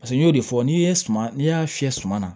Paseke n y'o de fɔ n'i ye suma n'i y'a fiyɛ suma na